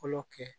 Fɔlɔ kɛ